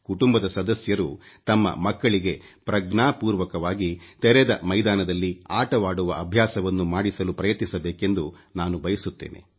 ಕುಟುಂಬದ ಸದಸ್ಯರು ತಮ್ಮ ಮಕ್ಕಳಿಗೆ ಪ್ರಜ್ಞಾಪೂರ್ವಕವಾಗಿ ತೆರೆದ ಮೈದಾನದಲ್ಲಿ ಆಟವಾಡುವ ಅಭ್ಯಾಸವನ್ನು ಮಾಡಿಸಲು ಪ್ರಯತ್ನಿಸಬೇಕೆಂದು ನಾನು ಬಯಸುತ್ತೇನೆ